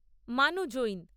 Manu Jain